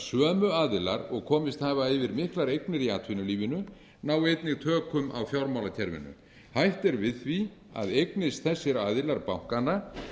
sömu aðilar og komist hafa yfir miklar eignir í atvinnulífinu nái einnig tökum á fjármálakerfinu hætt er við því að eignist þessir aðilar bankana